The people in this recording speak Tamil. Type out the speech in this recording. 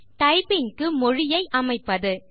டைப்பிங் க்கு மொழியை அமைப்பது